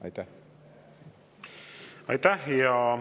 Aitäh!